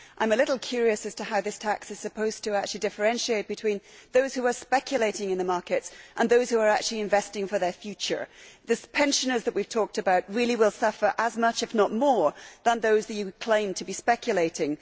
I am a little curious as to how this tax is supposed to actually differentiate between those who are speculating in the market and those who are actually investing for their future. The pensioners that we have talked about really will suffer as much as, if not more than, those that you claim are speculating.